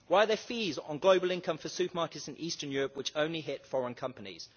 Why are there fees on global income for supermarkets in Eastern Europe which only hit foreign companies.